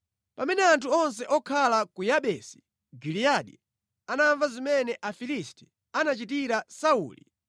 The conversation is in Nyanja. Pamene anthu onse okhala ku Yabesi Giliyadi anamva zimene Afilisti anachitira Sauli,